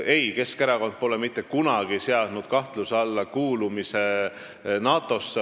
Ei, Keskerakond pole mitte kunagi seadnud kahtluse alla kuulumist NATO-sse.